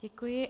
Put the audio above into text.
Děkuji.